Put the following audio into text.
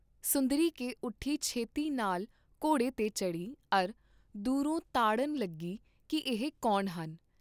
ਸੁੰਦਰੀ ਕੇ ਉਠੀ ਛੇਤੀ ਨਾਲ ਘੋੜੇ ਤੇ ਚੜ੍ਹੀ ਅਰ ਦੂਰੋਂ ਤਾੜਨ ਲੱਗੀ ਕੀ ਇਹ ਕੌਣ ਹਨ?